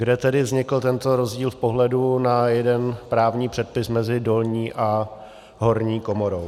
Kde tedy vznikl tento rozdíl v pohledu na jeden právní předpis mezi dolní a horní komorou?